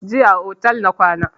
Jiya a otel na kwana